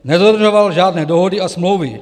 Nedodržoval žádné dohody a smlouvy.